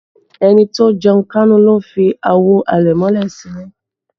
Ẹni tó jẹun kánú ló ń fi àwo àlẹ̀mọ́lẹ̀ sí ilé